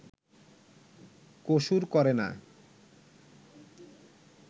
কসুর করে না